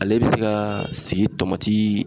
Ale bɛ se ka sigi tomati